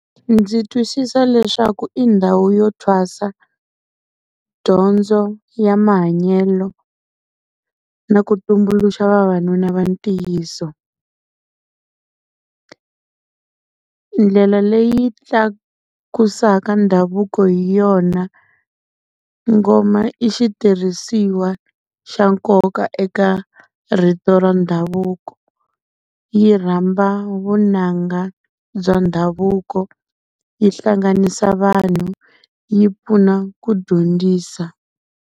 Ndzi twisisa leswaku i ndhawu yo thwasa, dyondzo ya mahanyelo na ku tumbuluxa vavanuna va ntiyiso. Ndlela leyi tlakusaka ndhavuko hi yona. Ngoma i xitirhisiwa xa nkoka eka rito ra ndhavuko yi rhamba vunanga bya ndhavuko, yi hlanganisa vanhu yi pfuna ku dyondzisa.